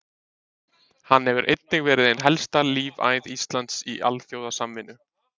Hann hefur einnig verið ein helsta lífæð Íslands í alþjóðasamvinnu.